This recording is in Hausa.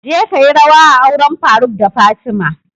Je kayi rawa a auren faruk da fatima!